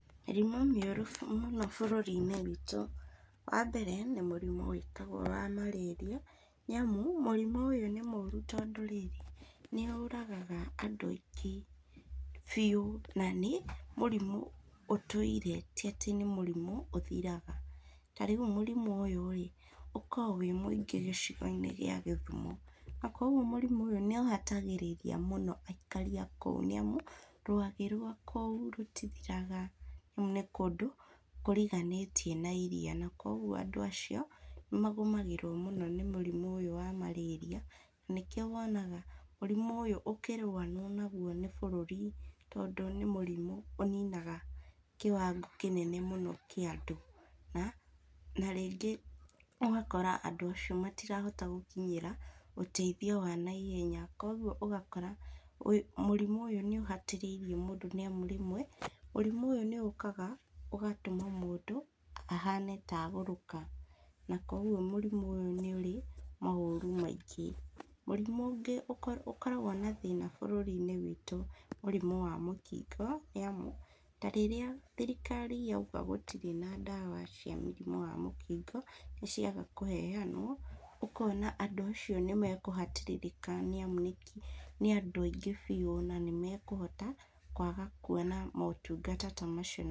Mĩrimũ mĩũru mũ bũrũri-inĩ witũ, wambere, nĩ mũrimũ wĩtagwo wa malaria nĩamu mũrimũ ũyũ nĩ mũru tondũ wa rĩrĩ, nĩũragaga andũ aingĩ biũ, na nĩ mũrimũ ũtũire tiatĩ nĩ mũrimũ ũthiraga, na rĩu mũrimũ ũyũ rĩ ũko wĩ mũingĩ gĩcigo-inĩ gĩa gĩthumo, na koguo mũrimũ ũyũ nĩũhatagĩrĩria mũno aikari a kũu nĩamu rwagĩ rwa kũu rũtithiraga, ní kũndũ kũriganĩtie na iria, na koguo andũ acio, nĩmagũmagĩrwo mũno nĩ mũrimũ ũyũ wa malaria na nĩkĩo wonaga mũrimũ ũyũ ũkĩrũanwo naguo nĩ bũrũri tondũ nĩ mũrimũ ũninaga kĩwango kĩnene mũno kĩa andũ, na, na rĩngĩ ugakora andũ acio matirahota gũkinyĩra ũteithio wa naihenya, koguo ũgakora ũ mũrimũ ũyũ nĩũhatĩrĩirie mũndũ nĩamu rĩmwe mũrimũ ũyũ nĩũkaga ũgatũma mũndũ ahane ta agũrũka, na koguo mũrimũ ũyũ nĩũrĩ maũru maingĩ, mũrimũ ũngĩ ũ ũkoragwo na thĩna bũrũri-inĩ witũ nĩ mũrimũ wa mũkingo, nĩamu ta rĩrĩa thirikari yauga gũtirĩ na ndawa cia mũrimũ wa mũkingo, nĩciaga kũheanwo, ũkona andũ acio nĩmekũhatĩrĩrĩka nĩamu nĩngi nĩ andũ aingĩ biũ na nĩmekũhota kwaga kuona motungata ta macio.